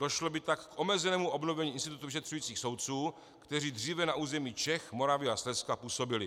Došlo by tak k omezenému obnovení institutu vyšetřujících soudců, kteří dříve na území Čech, Moravy a Slezska působili.